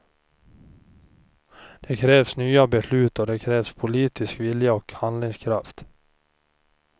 Det krävs nya beslut, och det krävs politisk vilja och handlingskraft.